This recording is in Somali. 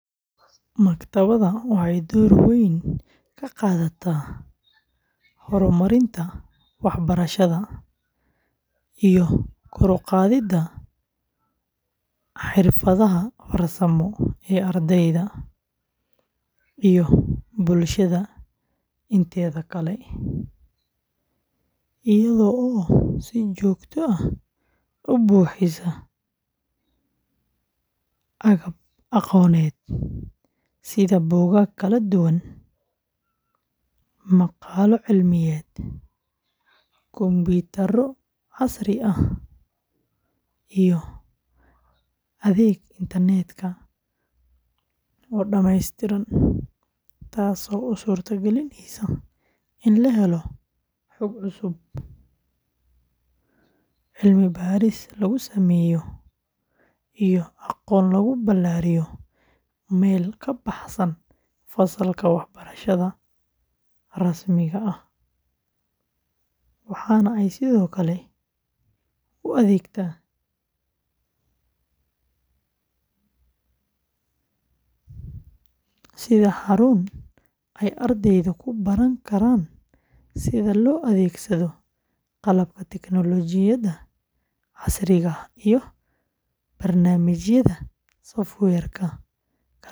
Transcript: Maktabadda waxay door weyn ka qaadataa horumarinta waxbarashada iyo kor u qaadidda xirfadaha farsamo ee ardayda iyo bulshada inteeda kale, iyadoo si joogto ah u bixisa agab aqooneed sida buugaag kala duwan, maqaallo cilmiyeed, kombiyuutarro casri ah, iyo adeeg internet-ka oo dhameystiran, taasoo u suurta gelinaysa in la helo xog cusub, cilmi-baadhis lagu sameeyo, iyo aqoon lagu ballaariyo meel ka baxsan fasalka waxbarashada rasmiga ah, waxaana ay sidoo kale u adeegtaa sida xarun ay ardaydu ku baran karaan sida loo adeegsado qalabka tignoolajiyada casriga ah iyo barnaamijyada software-ka kala duwan.